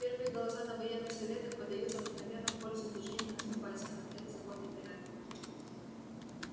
первые голоса на военных советах подаются обыкновенно в пользу движений наступательных это законный порядок